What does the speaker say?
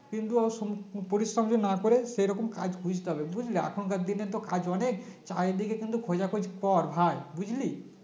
কিন্তু পরিশ্রম না করে সেরকম কাজ খুঁজতে হবে বুঝলে এখানকার দিনে তো কাজ অনেক চারিদিকে কিন্তু খোঁজা খোঁজ কর ভাই বুঝলি